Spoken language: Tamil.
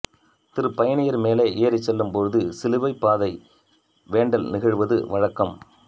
திருப்பயணியர் மேலே ஏறிச் செல்லும்போது சிலுவைப் பாதை வேண்டல் நிகழ்த்துவது வழக்கம்